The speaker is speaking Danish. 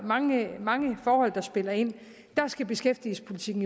mange mange forhold der spiller ind beskæftigelsespolitikken